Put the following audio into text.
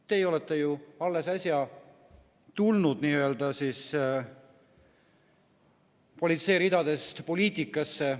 Teie olete ju alles äsja tulnud politsei ridadest poliitikasse.